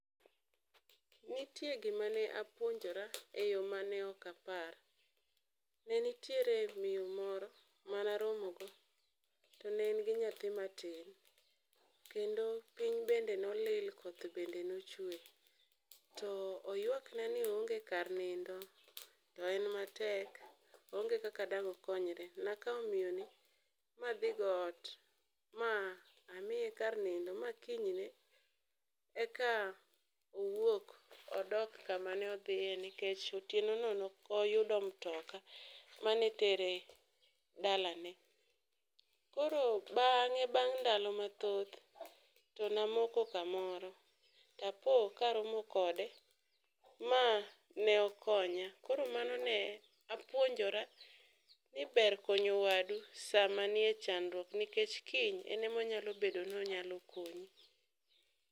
Nitie gima ne apuonjora e yo mane ok apar. Ne nitiere miyo moro ma naromogo to ne en gi nyathi matin kendo piny bende nolil koth bende nochwe, to oyuakna ni oonge kar nindo to en matek oonge kaka dang' okonyre. Nakawo miyoni madhigo ot mamiye kar nindo ma kinyne eka owuok odok kamanedhiye nikech otienono ne ok oyudo mtoka mane tere dalane. Koro bang' ndalo mathoth namoko kamoro tapo karomo kode mane okonya, koro mano ne apuonjora ni ber konyo wadu sama nie chandruok nikech kiny en emonyalo bedo nonyalo konyi.